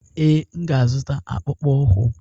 Ee, m ga-azụta akpụkpọ ụkwụ.